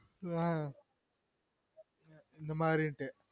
Okey வா இந்தமாரின்டு